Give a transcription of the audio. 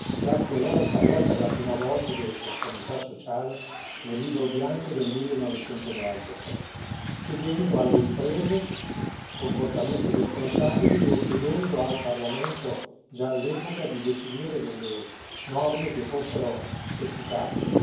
Jacques Delors parlò per la prima volta di responsabilità sociale nel Libro bianco del 1993, chiedendo alle imprese comportamenti responsabili e chiedendo al Parlamento, già all'epoca, di definire delle norme che fossero efficaci.